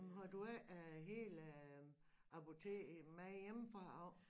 Nåh men har du ikke øh hele apoteket med hjemmefra af